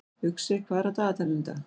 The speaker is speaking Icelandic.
Uxi, hvað er á dagatalinu í dag?